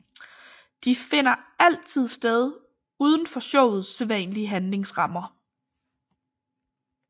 De finder altid sted uden for showets sædvanlige handlingsrammer